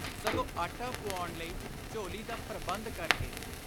ਸਗੋਂ ਆਟਾ ਪੁਆਉਣ ਲਈ ਝੋਲੀ ਦਾ ਪ੍ਰਬੰਧ ਕਰ ਕੇ।